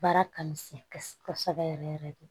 Baara ka misɛn kosɛbɛ kosɛbɛ yɛrɛ yɛrɛ de